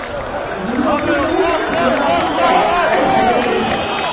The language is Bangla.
ভূমি অধিগ্রহণ ও পুনর্বাসন ব্যয় আড়াই হাজার কোটি টাকা